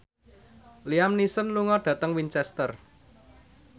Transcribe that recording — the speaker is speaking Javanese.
Liam Neeson lunga dhateng Winchester